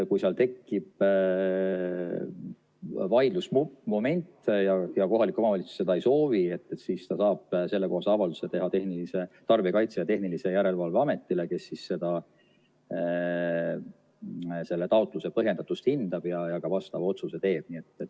Kui seal tekib vaidlusmoment ja kohalik omavalitsus seda ei soovi, siis ta saab sellekohase avalduse teha Tarbijakaitse ja Tehnilise Järelevalve Ametile, kes siis selle taotluse põhjendatust hindab ja ka vastava otsuse teeb.